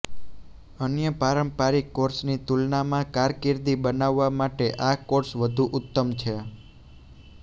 અન્ય પારંપારિક કોર્સની તુલનામાં કારકિર્દી બનાવવા માટે આ કોર્સ વધુ ઉત્તમ છે